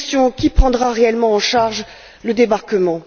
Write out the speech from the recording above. Qui prendra réellement en charge le débarquement?